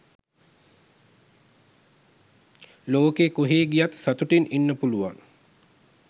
ලොකෙ කොහේ ගියත් සතුටින් ඉන්න පුළුවන්.